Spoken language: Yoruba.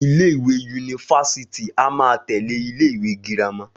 Ilé ìwé yunifásítì a máa tẹ̀lé ilé ìwé girama